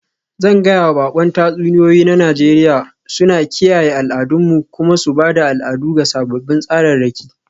Zan gaya wa baƙon tatsuniyoyi na Nijeriya suna kiyaye al'adunmu kuma su ba da al'adu ga sababbin tsararraki.